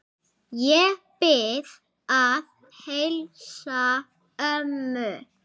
Ég bið að heilsa ömmu.